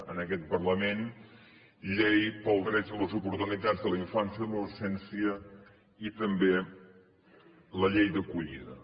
en aquest parlament la llei dels drets i les oportunitats de la infància i l’adolescència i també la llei d’acollida